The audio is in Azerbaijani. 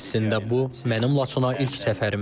Əslində bu mənim Laçına ilk səfərimdir.